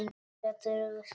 Geturðu skipt?